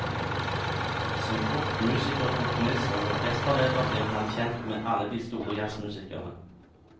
Som kokk, musiker, komponist og orkesterleder blir han kjent med alle de store jazzmusikerne.